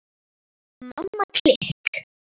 Mamma klikk!